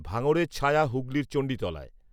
ভাঙড়ের ছায়া হুগলির চণ্ডীতলায়